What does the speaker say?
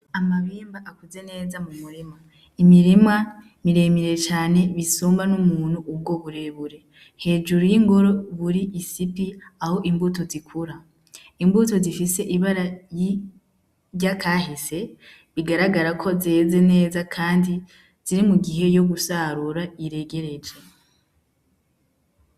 Amabimba akuze neza mu murima imirimwa miremire cane bisumba n'umuntu ubwo burebure hejuru y'ingoro buri isipi aho imbuto zikura imbuto zifise ibara yirya kahise bigaragara ko zeze neza, kandi ziri mu gihe yo gusarura ire igereja.